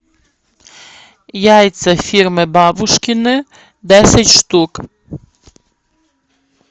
яйца фирмы бабушкины десять штук